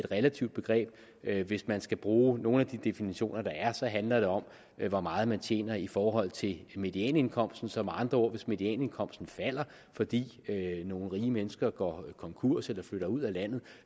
relativt begreb hvis man skal bruge nogle af de definitioner der er så handler det om hvor meget man tjener i forhold til medianindkomsten så med andre ord hvis medianindkomsten falder fordi nogle rige mennesker går konkurs eller flytter ud af landet